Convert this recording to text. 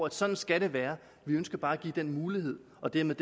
at sådan skal det være vi ønsker bare at give den mulighed og dermed